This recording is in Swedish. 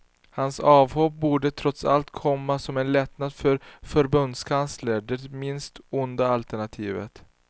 Hans avhopp borde trots allt komma som en lättnad för förbundskanslern; det minst onda alternativet.